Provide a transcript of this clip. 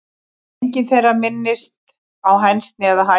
Engin þeirra minnist á hænsni eða hænur.